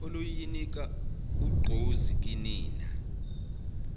oluyonika ugqozi kinina